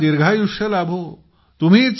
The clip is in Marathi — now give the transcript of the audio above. तुम्हाला दीर्घायुष्य लाभो